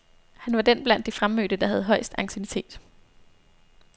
Han var den blandt de fremmødte, der havde højest anciennitet.